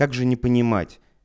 как же не понимать